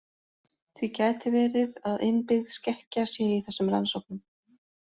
Því gæti verið að innbyggð skekkja sé í þessum rannsóknum.